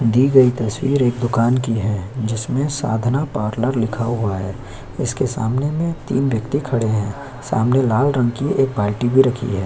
दी गई तस्वीर एक दुकान की है जिसमें साधना पार्लर लिखा हुआ है इसके सामने में तीन व्यक्ति खड़े हैं सामने लाल रंग की एक बाल्टी भी रखी है।